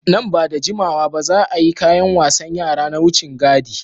Nan ba da jimawa ba, za a yi kayan wasan yara na wucin gadi.